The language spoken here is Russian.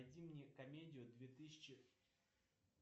найди мне комедию две тысячи